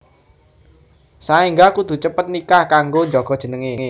Saéngga kudu cepet cepet nikah kanggo njaga jenengé